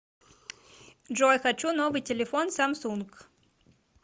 джой хочу новый телефон самсунг